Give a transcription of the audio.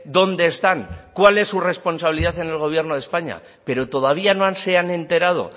dónde están cuál es su responsabilidad en el gobierno de españa pero todavía no se han enterado